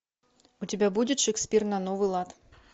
у тебя будет шекспир на новый лад